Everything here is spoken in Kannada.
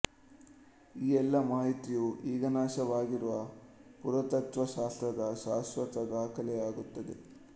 ಈ ಎಲ್ಲಾ ಮಾಹಿತಿಯು ಈಗನಾಶವಾಗಿರುವ ಪುರಾತತ್ತ್ವ ಶಾಸ್ತ್ರದ ಶಾಶ್ವತ ದಾಖಲೆಯಾಗುತ್ತದೆ